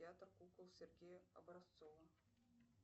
театр кукол сергея образцова